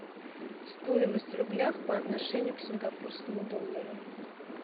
стоимость в рублях по отношению к сингапурскому доллару